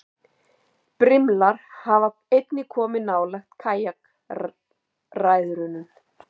Brimlar hafa einnig komið nálægt kajakræðurum.